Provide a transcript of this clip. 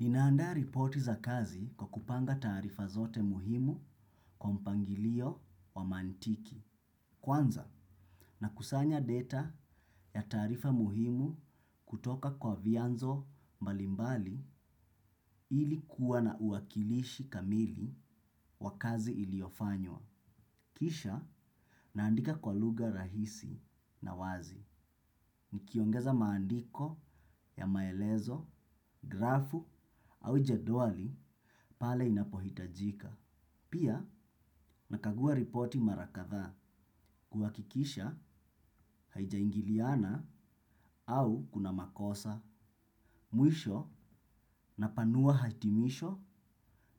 Ninaandaa ripoti za kazi kwa kupanga taarifa zote muhimu kwa mpangilio wa mantiki. Kwanza nakusanya data ya taarifa muhimu kutoka kwa vianzo mbalimbali ili kuwa na uwakilishi kamili wa kazi iliofanywa. Kisha naandika kwa lugha rahisi na wazi. Nikiongeza maandiko ya maelezo, grafu au jedwali pale inapohitajika. Pia nakagua ripoti mara kadha kuhakikisha haijaingiliana au kuna makosa mwisho napanua hatimisho